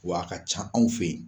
Wa a ka ca anw fe yen.